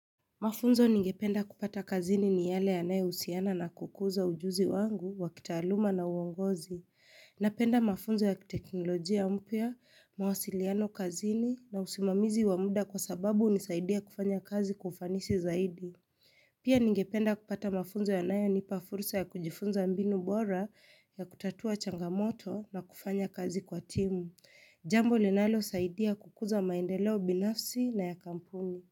Mafunzo ningependa kupata kazini ni yale yanae husiana na kukuza ujuzi wangu wa kitaaluma na uongozi. Napenda mafunzo ya kiteknolojia mpya, mawasiliano kazini na usimamizi wa mda kwa sababu hunisaidia kufanya kazi kwa ufanisi zaidi. Pia ningependa kupata mafunzo yanayo unipa fursa ya kujifunza mbinu bora ya kutatua changamoto na kufanya kazi kwa timu. Jambo linalo saidia kukuza maendeleo binafsi na ya kampuni.